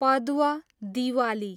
Padwa, Diwali